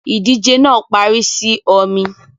Ìdíje náà parí sì ọmi